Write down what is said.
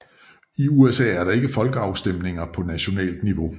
I USA er der ikke folkeafstemninger på nationalt niveau